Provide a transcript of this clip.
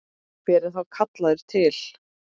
Hver er þá kallaður til?